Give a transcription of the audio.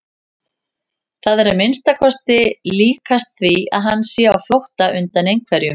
Það er að minnsta kosti líkast því að hann sé á flótta undan einhverjum.